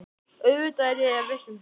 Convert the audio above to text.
Auðvitað er ég viss um það.